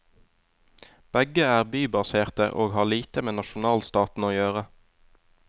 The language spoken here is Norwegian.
Begge er bybaserte og har lite med nasjonalstaten å gjøre.